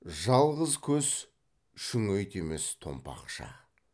жалғыз көз шүңет емес томпақша